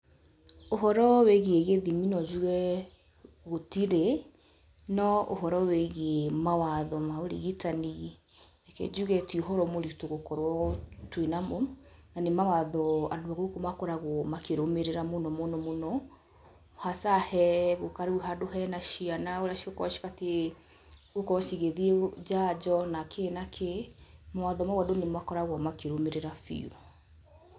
Ũhoro wĩgiĩ gĩthimi no njuge gũtirĩ no ũhoro wĩgiĩ mawatho ma ũrigitani reke njuge ti ũhoro mũritũ gũkorwo twĩna mo, na nĩ mawatho andũ a gũkũ makoragwo makĩrũmĩrĩra mũno mũno mũno hasa he gũka rĩu handũ hena ciana ũrĩa cigũkorwo cibatiĩ gũkorwo cigĩthiĩ njanjo na kĩ na kĩ mawatho mau andũ nĩ makoragwo makĩrũmĩrĩa biũ.